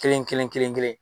Kelen kelen kelen kelen